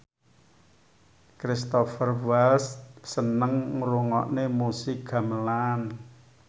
Cristhoper Waltz seneng ngrungokne musik gamelan